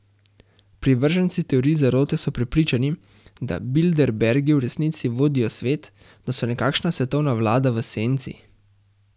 Privrženci teorij zarote so prepričani, da bilderbergi v resnici vodijo svet, da so nekakšna svetovna vlada v senci.